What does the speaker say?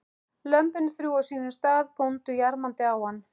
Lömbin þrjú á sínum stað og góndu jarmandi á hann.